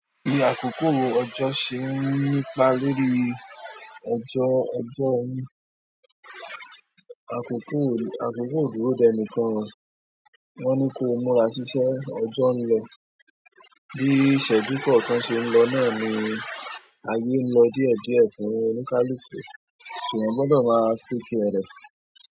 Ibi àkókò ọjọ́ ṣe ń nípa lórí ọjọ́ ẹ̀jọ ẹni. Àkókò ò dúró dẹnìkan o. Wọ́n ní kí ó múra síṣẹ́, ọjọ́ ń lọ. Bí ìṣẹ́jú kọ̀ọ̀kan ṣe ń lọ náà ni ayé ń lọ díẹ̀ díẹ̀ fún oníkálùkù, ṣùgbọ́n gbọ́dọ̀ máa pínkiri rẹ̀.